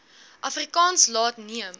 afrikaans laat neem